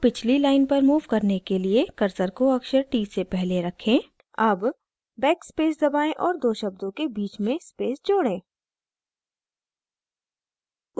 शब्द को पिछली line पर move करने के लिए cursor को अक्षर t से पहले रखें add backspace दबाएं और दो शब्दों के बीच में space जोड़ें